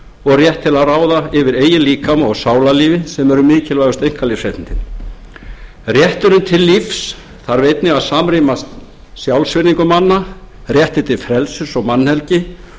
og rétt til að ráða yfir eigin líkama og sálarlífi sem eru mikilvægustu einkalífsréttindin rétturinn til lífs þarf einnig að samræmast sjálfsvirðingu manna réttinn til frelsis mannhelgi